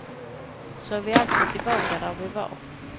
Så är vi alltså tillbaka där vi var.